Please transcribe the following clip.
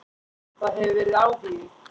Það hefur verið áhugi.